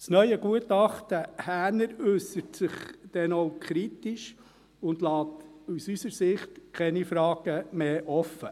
Das neue Gutachten Häner äussert sich denn auch kritisch und lässt aus unserer Sicht keine Fragen mehr offen.